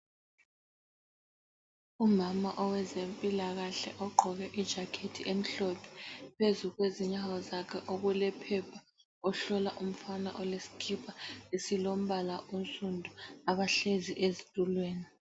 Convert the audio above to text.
Umama owezempilakahle ogqoke ijacket emhlophe phezu kwezinyawo zakhe okulephepha. Ohlola umfana olesikipa esilombala onsundu abahlezi ezitulweni.